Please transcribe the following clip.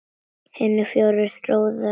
Hinir fjórir róa lóðina út.